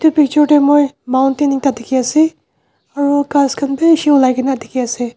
edu picture tae moi mountain ekta dikhiase aro ghas khan bishi olai kaena dikhiase.